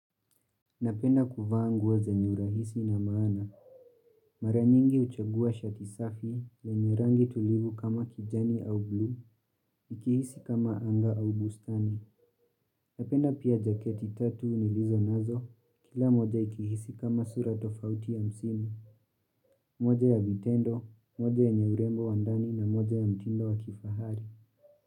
Napenda kuvaa nguo wa zenye urahisi na maana. Mara nyingi huchagua shati safi lenye rangi tulivu kama kijani au blue, ikihisi kama anga au bustani. Napenda pia jaketi tatu nilizo nazo, kila moja ikihisi kama sura tofauti ya msimu, moja ya vitendo, moja yenye urembo wa ndani na moja ya mtindo wa kifahari.